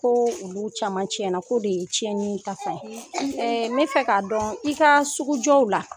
Ko olu caman tiɲɛ na, ko de ye tiɲɛni ka fan ye. N bɛ fɛ k'a dɔn i ka sugujɔ yɔrɔnw la.